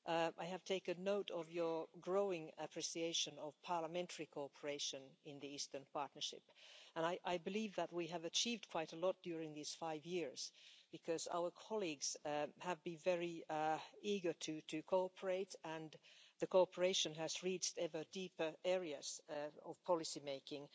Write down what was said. I have taken note of your growing appreciation of parliamentary cooperation in the Eastern Partnership and I believe that we have achieved quite a lot during these five years because our colleagues have been very eager to cooperate, and the cooperation has reached ever deeper areas of policy making.